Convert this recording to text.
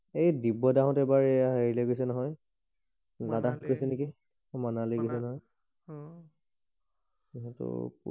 এই দিব্য দা হত এই বাৰ এইয়া হেৰিয়লে গৈছে নহয় লাদাস গৈছে নেকি মানালি মানালি গৈছে নহয় অ